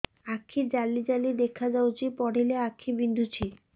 ଆଖି ଜାଲି ଜାଲି ଦେଖାଯାଉଛି ପଢିଲେ ଆଖି ବିନ୍ଧୁଛି